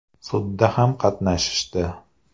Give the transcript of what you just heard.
Sudda ham qatnashishdi.